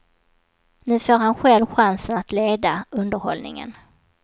Nu får han själv chansen att leda underhållningen.